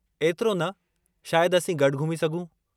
एतिरो न, शायदि असीं गॾु घुमी सघूं।